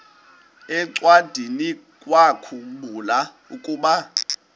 encwadiniwakhu mbula ukuba